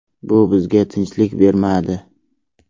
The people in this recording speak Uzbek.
Bu bizga tinchlik bermadi.